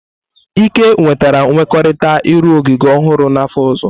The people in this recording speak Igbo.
Ike nwetara nkwekọrịta ịrụ ogige ọhụrụ n'afọ ọzọ.